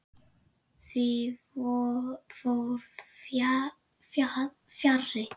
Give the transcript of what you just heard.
Því fór fjarri.